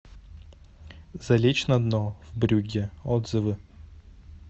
залечь на дно в брюгге отзывы